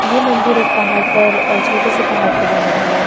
ये मंदिर एक पहाड़ पर छोटे से पहाड़ पर बना हुआ है।